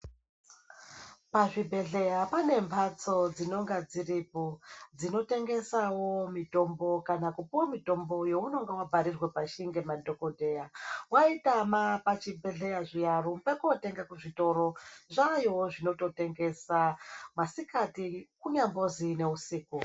Pa zvibhedhleya pane mbatso dzinonga dziripo dzino tengesawo mitombo kana kupuwe mitombo yo unonga wa bharirwe pashi nge madhokodheya waitama pa chi bhedhleya zviya rumba ko tenga ku zvitoro zvayowo zvinoto tengesa masikati kunyangonzi ne usiku.